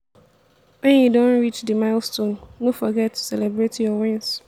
when you don reach di milestone no forget to celebrate your win